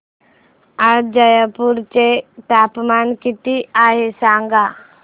आज जयपूर चे तापमान किती आहे सांगा